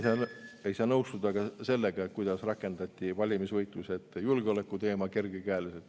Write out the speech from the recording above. Ei saa nõustuda ka sellega, kuidas kergekäeliselt rakendati valimisvõitluse ette julgeolekuteema.